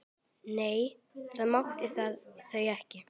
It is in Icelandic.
Nei, það máttu þau ekki.